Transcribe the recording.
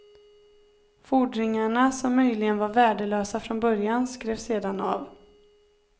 Fordringarna, som möjligen var värdelösa från början, skrevs sedan av.